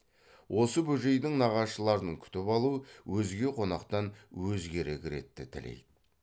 осы бөжейдің нағашыларын күтіп алу өзге қонақтан өзгерек ретті тілейді